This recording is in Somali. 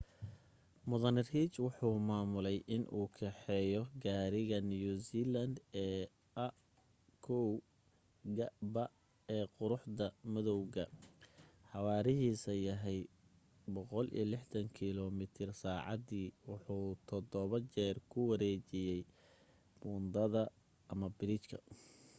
mudane reid wuxuu maamuley in uu kaxeeyo gaariga new zealand ee a1gp ee quruxda madowga xawaarahiisa yahay 160km/h wuxuu todobo jeer ku wareejiyey buundada/biriijka